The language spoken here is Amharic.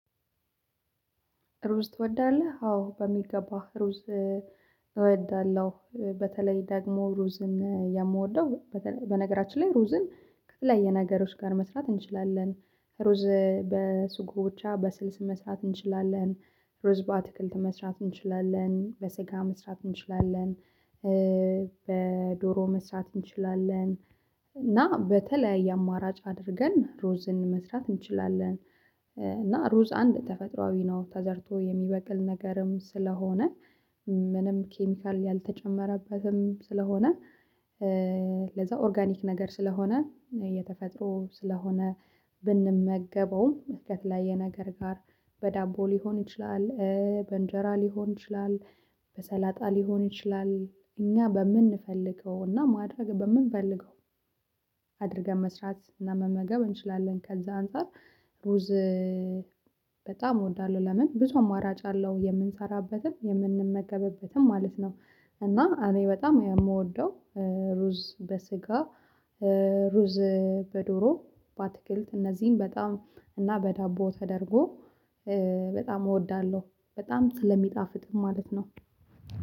ሩዝ ትወዳለህ? አዎ በሚገባህ ሩዝ እወዳለሁ በተለይ ደግሞ ሩዝን የምወደው። በነገራችን ላይ ሩዝን ከተለያየ ነገሮች ጋር መስራት እንችላለን። ሩዝ በስጉ ብቻ በስልስ መስራት እንችላለን። ሩዝ በአትክልት መስራት እንችላለን በስጋ መስራት እንችላለን በዶሮ መስራት እንችላለን። እና በተለያየ አማራጭ አድርገን ሩዝን መስራት እንችላለን። እና ሩዝ አንድ ተፈጥሮአዊ ነው ተዘርቶ የሚበቅል ነገርም ስለሆነ ምንም ኬሚካል ያልተጨመረበትም ስለሆነ ለዛ ኦርጋኒክ ነገር ስለሆነ የተፈጥሮ ስለሆነ ብንመገበውም ከተለያያ የነገር ጋር በዳቦ ሊሆን ይችላል። በእንጀራ ሊሆን ይችላል። በሰላጣ ሊሆን ይችላል። እኛ በምንፈልገውና ማድረግ በምንፈልገው አድርገን መስራት እና መመገብ እንችላለን ከዛ አንፃር ሩዝ በጣም እወዳለሁ። ለምን ብዙ አማራጭ አለው የምንሰራበትም የምንመገብበትም ማለት ነው። እና አኔ በጣም ነው የምወደው። ሩዝ በስጋ ሩዝ በዶሮ በአትክልት እነዚህን በጣም እና በዳቦ ተደርጎ በጣም እወዳለሁ። በጣም ስለሚጣፍጥም ማለት ነው።